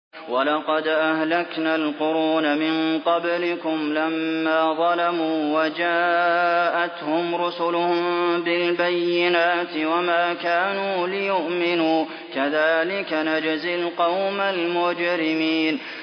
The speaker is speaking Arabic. وَلَقَدْ أَهْلَكْنَا الْقُرُونَ مِن قَبْلِكُمْ لَمَّا ظَلَمُوا ۙ وَجَاءَتْهُمْ رُسُلُهُم بِالْبَيِّنَاتِ وَمَا كَانُوا لِيُؤْمِنُوا ۚ كَذَٰلِكَ نَجْزِي الْقَوْمَ الْمُجْرِمِينَ